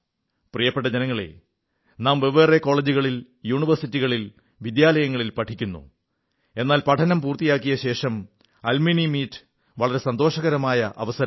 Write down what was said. പ്രിയപ്പെട്ട ജനങ്ങളേ നാം വെവ്വേറെ കോളജുകളിൽ യൂണിവേഴ്സിറ്റികളിൽ വിദ്യാലയങ്ങളിൽ പഠിക്കുന്നു എന്നാൽ പഠനം പൂർത്തിയാക്കിയ ശേഷം അലുമ്നി മീറ്റ് വളരെ സന്തോഷകരമായ അവസരമാണ്